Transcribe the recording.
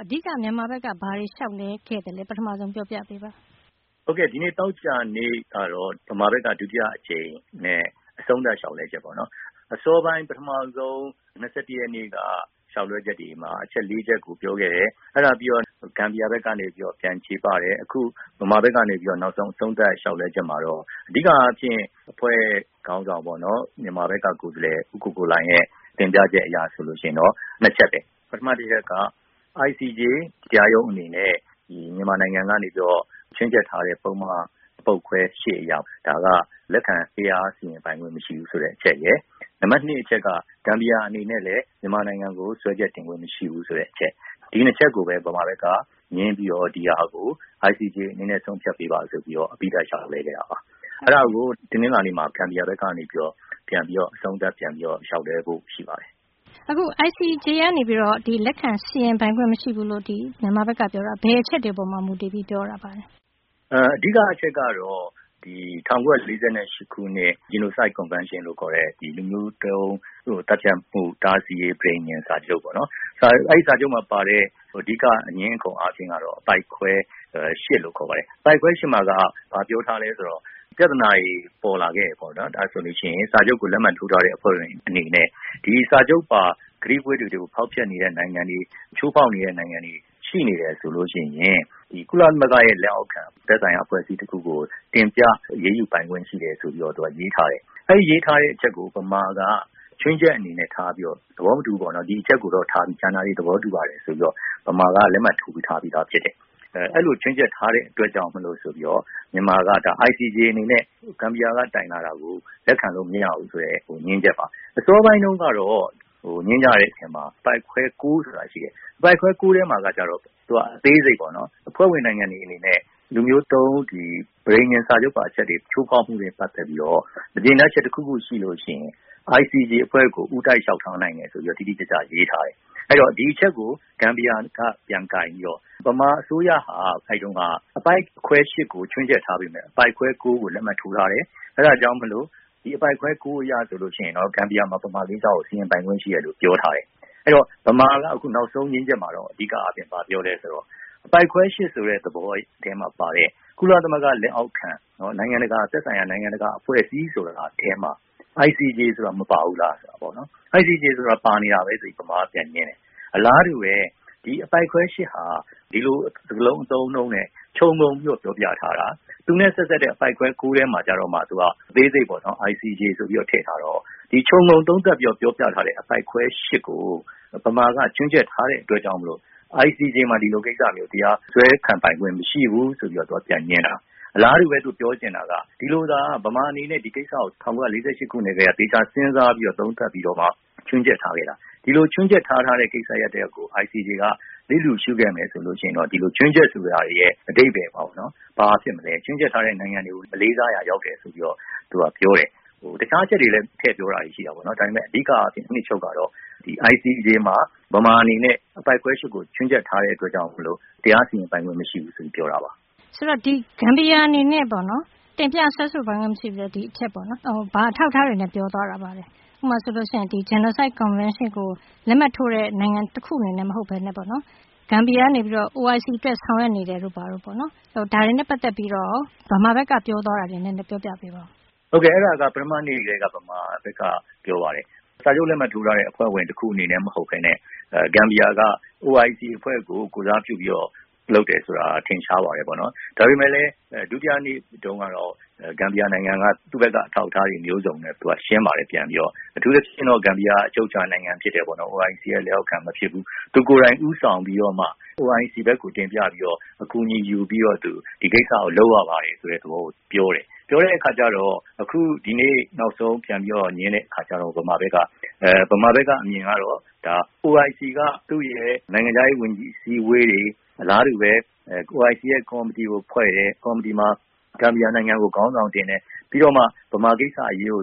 အဓိက မြန်မာဖက်က ဘာတွေ လျှောက်လဲခဲသလဲ ဆိုတာ ပထမဆုံး ပြောပြပေးပါ။ ဟုတ်ကဲ သောကြာနေ့ကတော့ ဗမာဖက်က ဒုတိယအကြိမ်နဲ့ အဆုံးသတ် လျှောက်လဲချက်ပါ။ ပထမဦးဆုံး ၂၁ ရက်နေ့က လျှောက်လဲချက်တွေမှာ အချက် ၄ ချက်ကို ပြောခဲ့တယ်။ အဲဒါပြီးတော့ ဂမ်ဘီယာဖက်ကနေ ပြန်လည်ချေပတယ်။ အခု ဗမာဖက်က အဆုံးသတ်လျှောက်လဲချက်မှာတော့ အဓိကအားဖြင့် အဖွဲ့ခေါင်းဆောင် ဦးကိုကိုလှိုင် ရဲ့ တင်ပြချက်အရဆိုရင်တော့ ၂ ချက်ပဲ။ ICJ တရားရုံးအနေနဲ့ မြန်မာနိုင်ငံကနေပြီးတော့ ချွင်းချက်ထားတဲ့ ပုဒ်မ ပုဒ်ခွဲ၈ အရ ဒါက လက်ခံနိုင်ခွင့်မရှိဘူးဆိုတဲ့အချက်ရယ်။ နံပတ် ၂ အချက်က ဂမ်ဘီယာအနေနဲ့လည်း မြန်မာနိုင်ငံကို စွဲချက်တင်ခွင့်မရှိဘူးဆိုတဲ့အချက်။ ဒီ ၂ချက်ကိုပဲ မြန်မာနိုင်ငံက ငြင်းပြီးတော့ ICJ အနေနဲ့ ဆုံးဖြတ်ပေးပါဆိုပြီးတော့ သီးသန့်လျှောက်လွှဲခဲ့တာပါ။ အဲဒါကိုပဲ ဂမ်ဘီယာ ဖက်က တနင်္လာနေ့မှာ ပြန်ပြီးတော့ အဆုံးသတ်လျှောက်လဲဖို့ရှိပါတယ်။ ICJ ကနေပြီးတော့ လက်ခံစီရင်ပိုင်ခွင့်မရှိဘူးဆိုပြီးတော့ မြန်မာဖက်က ပြောတာ ဘယ်အချက်တွေကို မူတည်ြ့ပီးတော့ ပြောတာပါလဲ။ အဓိကအချက်ကတော့ ၁၉ ၄၈ ခုနှစ် Genocide Convention လို့ခေါ်တဲ့ လူမျိုးတုံးသတ်ဖြတ်မှု တားဆီးရေး ပဋိညာဉ်စာချုပ်ပေါ့ ။ အဲဒီအထဲမှာပါတဲ့ အဓီက အငြင်းအခုံကတော့ အပိုဒ်ခွဲ ၈ လို့ခေါ်ပါတယ်။ အဲဒီမှာ ဘာပြောထားလဲဆိုတော့ ပြသာနာပေါ်လာခဲ့ရင် စာချုပ်ကို လက်မှတ်ထိုးထားတဲ့ နိုင်ငံတွေအနေနဲ့ ဒီစာချုပ်ပါအချက်တွေကို ချိုးဖောက်နေတဲ့နိုင်ငံတွေရှိနေတယ်ဆိုလို့ရှိရင် ကုလသမဂ္ဂလက်အောက်ခံ သက်ဆိုင်ရာ အဖွဲ့အစည်းတခုခုကို တင်ပြအရေးယူပိုင်ခွင့်ရှိတယ်လို့ရေးထားတယ်။ အဲဒီရေးထားတဲ့အချက်ကို ဗမာက ခြွင်းချက်အနေနဲ့ထားပြီး လက်မှတ်ထိုးထားပြီးဖြစ်တယ်။ အဲလိုခြွင်းချက်ထားတဲ့အတွက်ဆိုပြီး မြန်မာက ICJ အနေနဲ့ ဂမ်ဘီယာက တင်ပြထားတာကို လက်ခံလို့မရဘူးဆိုတာကို ငြင်းချက်ပါ။ အစောပိုင်းတုံးကတော့ အပိုဒ်ခွဲ ၉ ဆိုတာရှိတယ်။ သူကအသေးစိတ်ပေါ့နော်။ အဖွဲ့ဝင်နိုင်ငံတွေအနေနဲ့ လူမျိုးတုံး ပဋိညာဉ်စာချုပ်တွေ ချိုးဖောက်မှုနဲ့ ပတ်သက်ပြီးတော့ မကြေနပ်ချက် တခုခုရှိလိုရှိရင် ICJ အဖွဲ့ကို ဦးတိုက်လျှောက်ထားနိုင်တယ် ဆိုပြီးရေးထားတယ်။ ဒီအချက်ကို ဂမ်ဘီယာ က ပြန်ကိုင်ပြီးတော့ ဗမာအစိုးရဟာ အဲဒီတုံးက အပိုဒ်ခွဲ ၈ ကို ခြွင်းချက်ထားပြီးတော့ အပိုဒ်ခွဲ ၉ ကို လက်မှတ်ထိုးထားတယ်။ အဲဒီတော့ အပိုဒ်ခွဲ ၉ အရဆိုရင် ဂမ်ဘီယာ ဟာ ဗမာကိစ္စကို စီရင်ပိုင်ခွင့်ရှိတယ်လို့ပြောထားတယ်။ ဗမာက အခုနောက်ဆုံးငြင်းချက်မှာတော့ အပိုဒ်ခွဲ ၈ ဆိုတဲ့သဘောထဲမှာပါတဲ့ ကုလသမဂ္ဂလက်အောက်ခံ သက်ဆိုင်ရာ နိုင်ငံတကာ အဖွဲ့အစည်းဆိုတာထဲမှာ ICJဆိုတာ မပါဘူးလာပေါ့နော် ။ ICJ ဆိုတာနေတာပဲဆိုပြီးဗမာက ပြန်ငြင်းတယ်။ အလားတူပဲ ဒီလိုအပိုဒ်ခွဲ ၈ ဟာ ဒီလို စကားလုံး အသုံးအနှုန်းနဲ့ ခြုံငုံပြီးတာ့ ပြောပြထားတာ။ သူနဲ့ ဆက်စပ်တဲ့ အပိုဒ်ခွဲ ၉ ထဲမှာကြမှ အသေးစိတ်ပေါ့နော်။ ICJ ဆိုပြီးတော့ ထဲထားတာ။ ဒီခြုံငုံသုံးသပ်ပြီးတော့ ပြောပြထားတဲ့ အပိုဒ်ခွဲ ၈ ကို ဗမာက ခြွင်းချက်ထားတဲ့အတွက်ကြောင့် ICJ မှာ ဒီကိစ္စတရားစွဲဆိုပိုင်ခွင့်မရှိဘူး ဆိုပြီး ပြန်ငြင်းတာ။ အလားတူပဲ ဗမာအနေနဲ့ ဒီကိစ္စကို၁၉ ၄၈ ကတည်းက သေခြာစဉ်းစားသုံးသပ်ခဲ့ပြီး ခြွင်းချက်ထားခဲ့တာ။ ဒီလိုခြွင်းချက်ထားတဲ့ကိစ္စတခုကို ICJ က လျစ်လျှူခဲ့တယ်ဆိုရင်တော့ ဒီခြွင်းချက်ဆိုတာရဲ့ အဓိပ္ပါယ်ကို ဘာဖြစ်မလဲ။ ဒီလိုခြွင်းချက်ထားတဲ့ နိုင်ငံတွေကိုမလေးစားရာ ရောက်တယ်ဆိုပြီး သူကပြောတယ်။ တခြားအချက်တွေကိုလည်း ထဲ့ပြောတာရှိပါတယ်။ အဓိကအားဖြစ် အနှစ်ချုပ်ကတော့ ဒီ ICJ မှာ အပိုဒ်ခွဲ ၈ ကို ခြွင်းချက်ထားတဲ့အတွက်ကြောင့် တရားစီရင်ပိုင်ခွင့်မရှိဘူးလို့ပြောတာပါ။ ဂမ်ဘီယာအနေနဲ့ တင်ပြစွဲဆိုပိုင်ခွင့်မရှိဘူးဆိုတာ ဘာအထောက်အထားတွေနဲ့ ပြောသွားတာလဲ။ ဥပမာ ဆိုရင် Genocide Convention အနေနဲ့ ဂမ်ဘီယာ OIC အတွက် ဆောင်ရွက်နေတယ်ဆိုတာပေါ့။ ဒါတွေနဲ့ ပတ်သက်လို့ ဗမာဖက်က ပြောသွားတာကို နည်းနည်းပြောပြပေးပါအုန်း။ ဟုတ်ကဲ အဲဒါက ပထမနေ့တွေကတည်းက ဗမာဖက်က ပြောပါတယ်။ စာချုပ်လက်မှတ်ထိုးထားတဲ့ အဖွဲ့ဝင်တခုအနေနဲ့ ဂမ်ဘီယာက OIC အဖွဲ့ ကို ကိုယ်စားပြုလုပ်တယ်ဆိုတာကတော့ ထင်ရှားပါတယ်ပေါ့နော်။ ဒါပေမယ့်လည်း ဒုတိယနေ့တုံးက ဂမ်ဘီယာ က သူဖက်က အထောက်အထားတွေ မျိုးစုံနဲ့ ရှင်းပါတယ်။ အထူးသဖြင့် ဂမ်ဘီယာ က အချုပ်အခြာနိုင်ငံဖြစ်တယ်ပေါ့။ OIC လက်အောက်ခံမဖြစ်ဘူး။ သူကိုယ်တိုင် ဦးဆောင်ပြီးတော့မှ OIC ကို တင်ပြ အကူအညီယူပြီးတော့ ဒီကိစ္စလုပ်ရပါတယ်ဆိုတဲ့ သဘောပြောတယ်။ အခုဒီနေ့ နောက်ဆုံး ပြန်ပြီတော့ ငြင်းတဲ့ အခါကြတော့ ဗမာဖက်က အမြင်ကတော့ OIC က သူရဲ့နိုင်ငံခြားရေးဝန်ကြီးအစည်းအဝေးတွေ၊ အလားတူပဲ OIC ကော်မီတီကိုဖွဲ့တယ်။ ကော်မတီမှာ ဂမ်ဘီယာနိုင်ငံကို ခေါင်းဆောင်တင်တယ်။ ပြီးတော့မှ ဗမာကိစ္စအရေးကို